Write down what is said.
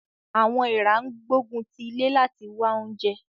Àwọn èèrà ń gbógun ti ilé láti wá oúnjẹ